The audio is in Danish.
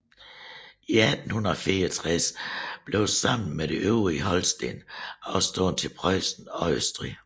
I 1864 blev det sammen med det øvrige Holsten afstået til Preussen og Østrig